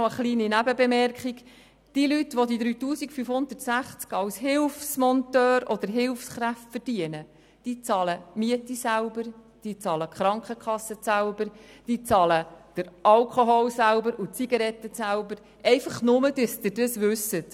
Noch eine kurze Nebenbemerkung: Diejenigen Leute, die die 3560 Franken als Hilfsmonteur oder Hilfskräfte verdienen, zahlen die Miete, die Krankenkasse, den Alkohol und die Zigaretten selber, nur, damit Sie das wissen.